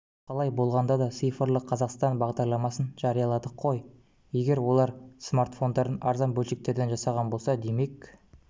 қалай болғанда да цифрлы қазақстан бағдарламасын жарияладық қой егер олар смартфонын арзан бөлшектерден жасаған болса демек